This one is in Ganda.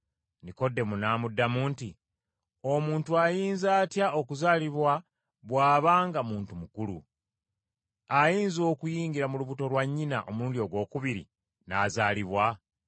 Nikodemo n’amuddamu nti, “Omuntu ayinza atya okuzaalibwa bw’aba nga muntu mukulu? Ayinza okuyingira mu lubuto lwa nnyina omulundi ogwokubiri, n’azaalibwa?”